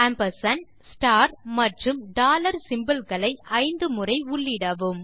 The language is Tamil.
ஆம்பர்சாண்ட் ஸ்டார் மற்றும் டாலர் சிம்போல் களை 5 முறை உள்ளிடவும்